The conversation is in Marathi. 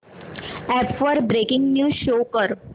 अॅप वर ब्रेकिंग न्यूज शो कर